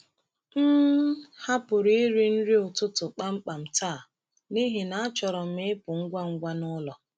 M hapụrụ iri nri ụtụtụ kpamkpam taa n’ihi na achọrọ m ịpụ ngwa ngwa n’ụlọ.